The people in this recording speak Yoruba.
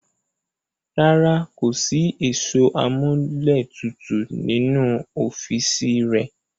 Rárá, kò ní sí ẹ̀rọ amúlétutù nínú ọ́fìsì rẹ̀